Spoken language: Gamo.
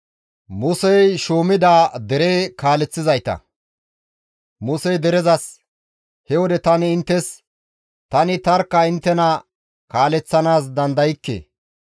Musey derezas, «He wode tani inttes, ‹Tani tarkka inttena kaaleththanaas dandaykke.